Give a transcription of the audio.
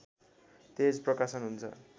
तेज प्रकाशन हुन्छ